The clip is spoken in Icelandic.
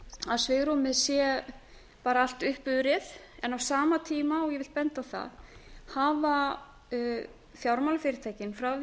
að svigrúmið sé bara allt uppurið en á sama tíma og ég vil benda á það hafa fjármálafyrirtækin frá því